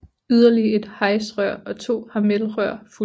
Yderligere et HAIS rør og to HAMEL rør fulgte